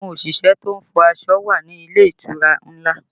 Àwọn òṣìṣẹ́ to ń fọ aṣọ náà wà ní àwọn ilé ìtura ńlá